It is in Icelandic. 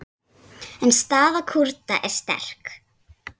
En staða Kúrda er sterk.